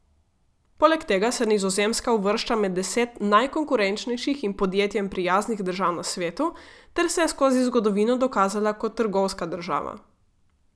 Poleg tega se Nizozemska uvršča med deset najkonkurenčnejših in podjetjem prijaznih držav na svetu ter se je skozi zgodovino dokazala kot trgovska država.